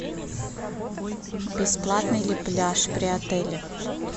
бесплатный ли пляж при отеле